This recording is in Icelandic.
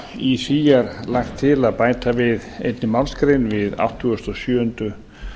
í því er lagt til að bæta einni málsgrein við áttugasta og sjöundu